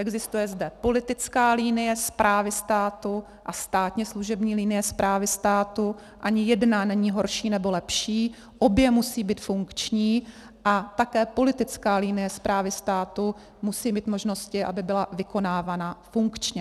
Existuje zde politická linie správy státu a státně služební linie správy státu, ani jedna není horší nebo lepší, obě musí být funkční a také politická linie správy státu musí mít možnosti, aby byla vykonávána funkčně.